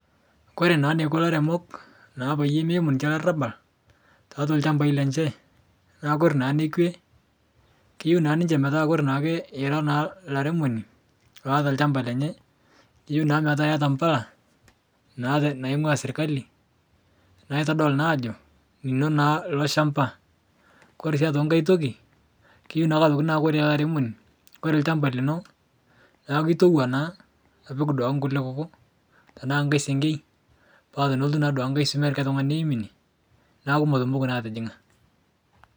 Kore naa neiko lairemok naa payie meimu ninche larabal, taatwa lchambai lenche, naa kore naa nekwe, keyeu naa ninche metaa kore naake ira naa laremoni loata lchamaba lenye, keyeu naa metaa eata mpala, naa te naing'ua sirkali, naitodolu naa ajo lino naa lo shamba. Kore sii aitoki nkae toki, keyeu naa toki naa kore laremoni, kore lchamba lino naaku itowa naa apik duake nkule kuku, tanaa nkae sengei, paa tenelotu naaduake nkae swomi eltung'ani neim ine naaku metumoki naa atijing'a.